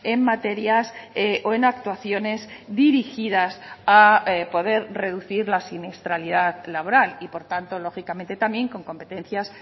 en materias o en actuaciones dirigidas a poder reducir la siniestralidad laboral y por tanto lógicamente también con competencias